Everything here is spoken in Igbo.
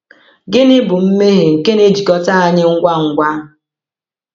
Gịnị bụ “mmehie nke na-ejikọta anyị ngwa ngwa”?